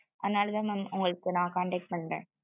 அதுனாலதா mam உங்களுக்கு நா contact பண்றே